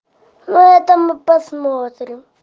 ну это мы посмотрим